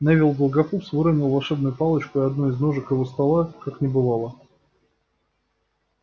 невилл долгопупс выронил волшебную палочку и одной из ножек его стола как не бывало